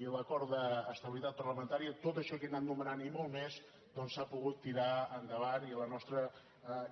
i a l’acord d’estabilitat parlamentària tot això que he anat anomenant i molt més doncs s’ha pogut tirar endavant i la nostra